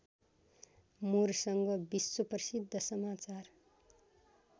मुरसँग विश्वप्रशिद्ध समाचार